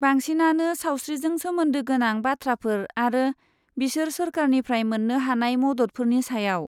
बांसिनानो सावस्रिजों सोमोन्दो गोनां बाथ्राफोर आरो बिसोर सोरखारनिफ्राय मोन्नो हानाय मददफोरनि सायाव।